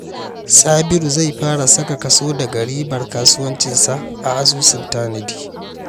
Sabiru zai fara saka kaso daga ribar kasuwancinsa a asusun tanadi.